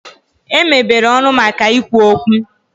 E mebere ọnụ maka ikwu okwu.